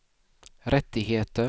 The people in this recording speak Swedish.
rättigheter